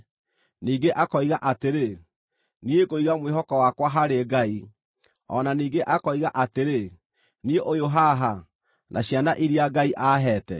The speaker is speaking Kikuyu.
Ningĩ akoiga atĩrĩ, “Niĩ ngũiga mwĩhoko wakwa harĩ Ngai.” O na ningĩ akoiga atĩrĩ, “Niĩ ũyũ haha, na ciana iria Ngai aaheete.”